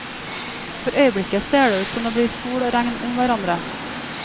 For øyeblikket ser det ut som det blir sol og regn om hverandre.